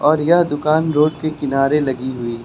और यह दुकान रोड के किनारे लगी हुई--